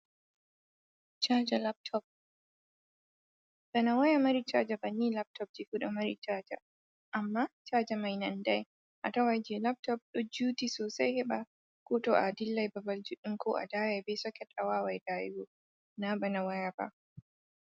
Chaja Laptop, bana Waya mari Chaja Banni Laptopji fu amma Chaja, amma Chaja mai nandai a tawaiji Laptop ɗo juuti Sosai heɓa ko to Adillai babal Judɗum ko a daya be Soket awawai Dayugo na bana waya ba.